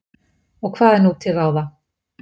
og hvað er nú til ráða